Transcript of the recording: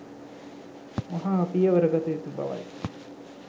වහා පියවර ගත යුතු බවයි